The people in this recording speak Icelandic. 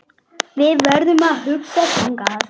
Við verðum að hugsa þannig.